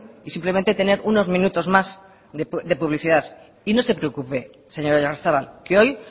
y simplemente tener unos minutos más de publicidad y no se preocupe señor oyarzabal que hoy